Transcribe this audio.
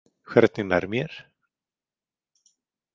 Hvernig nær mér?